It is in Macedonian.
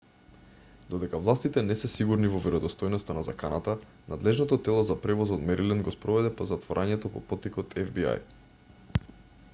додека властите не се сигурни во веродостојноста на заканата надлежното тело за превоз од мериленд го спроведе затворањето по поттик од фби